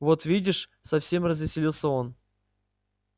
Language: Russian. вот видишь совсем развеселился он